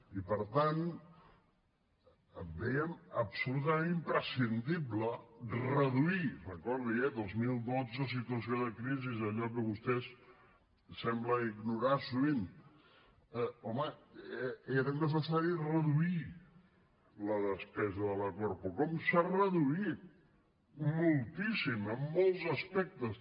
i per tant vèiem absolutament imprescindible reduir recordi ho eh dos mil dotze situació de crisi allò que vostès semblen ignorar sovint home era necessari reduir la despesa de la corpo com s’ha reduït moltíssim en molts aspectes